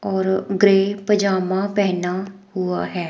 और ग्रे पजामा पहना हुआ है।